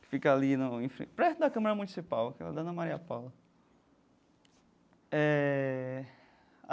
que fica ali no em frente perto da Câmara Municipal, aquela Dona Maria Paula eh.